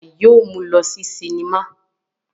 Bàbá rẹ̀ yóò mú lọ sí sinimá.